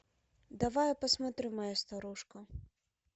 давай я посмотрю моя старушка